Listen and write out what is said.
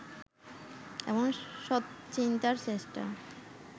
এবং সত চিন্তার চেষ্টা